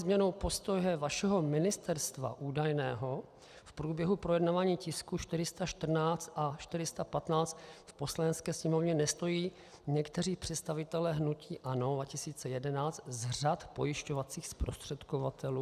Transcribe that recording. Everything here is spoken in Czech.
změnou postoje vašeho ministerstva - údajného - v průběhu projednávání tisku 414 a 415 v Poslanecké sněmovně nestojí někteří představitelé hnutí ANO 2011 z řad pojišťovacích zprostředkovatelů?